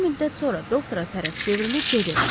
Bir müddət sonra doktora tərəf çevrilib dedi: